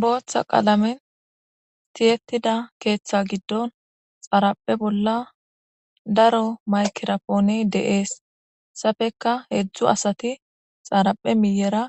booththa qaalamen tiyettida keeththa giddon xaraphe bolla daro maykerapooney deees hesafeka heedzdzu asati xaraphe miyera